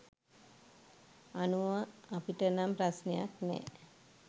අනුව අපිට නම් ප්‍රශ්නයක් නැ.